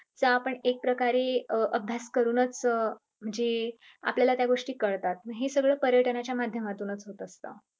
चा आपण एक प्रकारे अं अभ्यास करूनच म्हणजे आपल्याला त्या गोष्टी कळतात. हे सगळं पर्यटनाच्या माध्यमातून च होत असत.